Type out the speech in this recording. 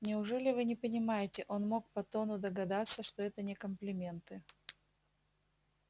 неужели вы не понимаете он мог по тону догадаться что это не комплименты